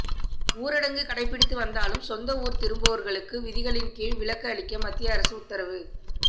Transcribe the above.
ஊரடங்கு கடைபிடித்து வந்தாலும் சொந்த ஊர் திரும்பவோர்களுக்கு விதிகளின் கீழ் விலக்கு அளிக்க மத்திய அரசு உத்தரவு